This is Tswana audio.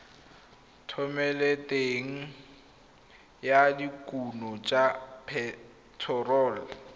thomeloteng ya dikuno tsa phetherol